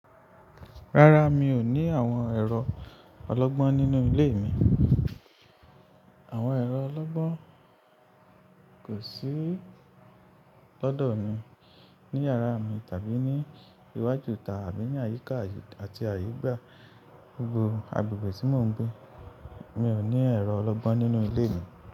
Rárá, mi ò ní àwọn ẹ̀rọ ọlọ́gbọ́n nínú ilé mi. Àwọn ẹ̀rọ ọlọ́gbọ́n kò sí lọ́dọ̀ mi ní yàrá mi tàbí ní iwájú ita abí ní àyíká àti àyígbà gbogbo agbègbè tí mò ń gbé. Mi ò ní ẹ̀rọ ọlọ́gbọ́n nínú ilé mi.